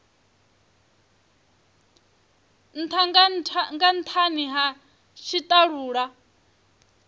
ntha nga nthani ha tshitalula